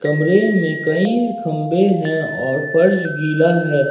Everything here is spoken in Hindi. कमरे में कई खंबे हैं और फर्श गिला है।